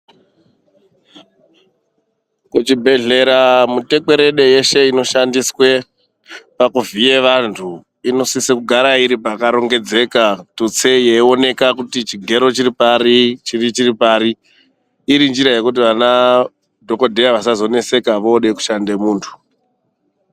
Kuchibhedhlera mutekwerede yeshe inoshandiswe pakuvhiye vantu inosise kugara iripakaringedzeka tuste yeioneka kuti chigero chiri pari , chiri chiri pari irinjira yekuti vana dhokodheya vasazoneseka vode kushanda muntu.